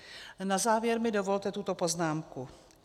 Na závěr mi dovolte tuto poznámku.